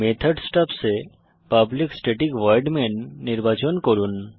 method stubs এ public static void main নির্বাচন করুন